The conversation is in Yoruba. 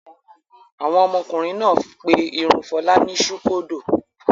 Àwọn ọmọkùnrin náà pé irun Fọlá ní ṣúkódò.